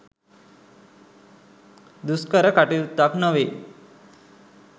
දුෂ්කර කටයුත්තක් නොවේ.